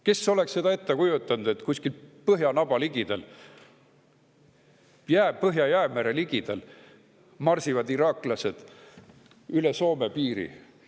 Kes oleks seda ette kujutanud, et kuskil põhjanaba, Põhja-Jäämere ligidal marsivad iraaklased üle Soome piiri?